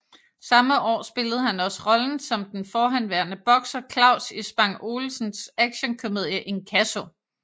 Samme år spillede han også rollen som den forhenværende bokser Klaus i Spang Olsens actionkomedie Inkasso